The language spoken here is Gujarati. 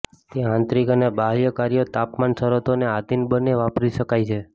તે આંતરિક અને બાહ્ય કાર્યો તાપમાન શરતોને આધીન બંને વાપરી શકાય છે